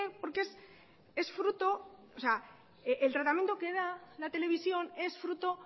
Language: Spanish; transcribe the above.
por qué el tratamiento que da la televisión es fruto